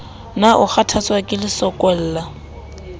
na o kgathatswa ke lesokolla